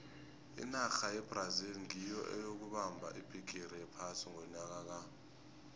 inarha yebrazil nyiyo eyokubamba ibhigiri yephasi ngonyaka ka